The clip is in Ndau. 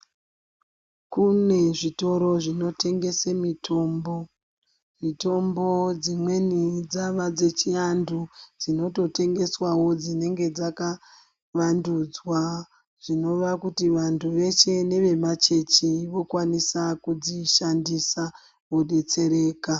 Kune zvitoro zvinotengese mitombo ,mitombo dzimweni dziana dzechiantu dzinototengeswawo dzinenge dzaka vandudzwa zvinova kuti vantu veshe neve machechi vanolwanisa kudzishandisa vodetsereka.